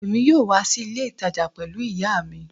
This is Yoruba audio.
Èmi yóò wá sí ilé ìtajà pẹlú ìyá mi